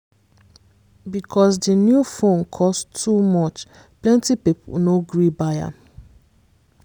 because di new phone cost too much plenty people no gree buy am